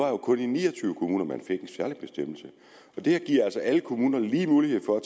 jo kun i ni og tyve kommuner at man fik en særlig bestemmelse det her giver altså alle kommuner lige mulighed for at